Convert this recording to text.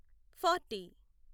forty